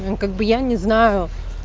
ну как бы я не знаю